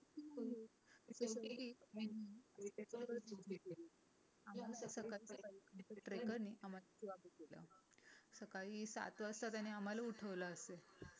trekker नि आम्हाला सेवा पण दिल्या होत्या सकाळी सात वाजता त्याने आम्हाला उठवला असेल